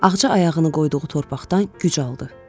Ağca ayağını qoyduğu torpaqdan güc aldı.